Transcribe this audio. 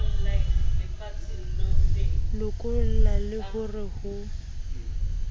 lokolla le ho re ho